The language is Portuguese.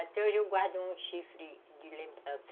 Até hoje eu guardo um chifre de lembrança.